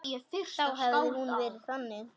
Þá hefði hún verið þannig